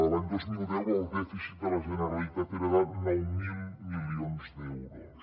l’any dos mil deu el dèficit de la generalitat era de nou mil milions d’euros